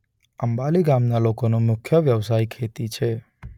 અંબાલી ગામના લોકોનો મુખ્ય વ્યવસાય ખેતી છે.